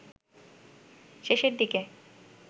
শেষের দিকে